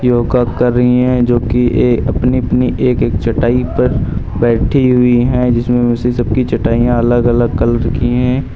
योगा कर रही है जोकि ये अपनी अपनी एक एक चटाई पर बैठी हुई है जिसमें इस सब की चटाइयां अलग अलग कलर की है।